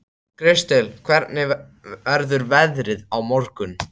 Kristel, hvernig verður veðrið á morgun?